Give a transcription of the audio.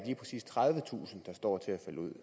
tredivetusind der står til at falde ud